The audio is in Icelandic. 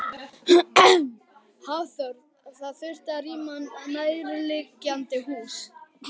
Hafþór: Það þurfti að rýma nærliggjandi hús?